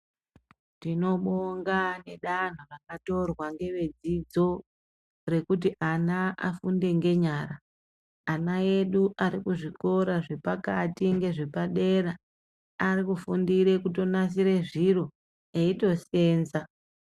Tinobonga ngedanho rakatorwa ngevedzidzo rekuti ana afunde ngenyara. Ana edu ari kuzvikora zvepakati nezvepadera arikutofundire kutonasire zviro eitoseenza.